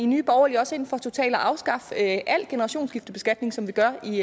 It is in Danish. nye borgerlige også ind for totalt at afskaffe al generationsskiftebeskatning som vi gør i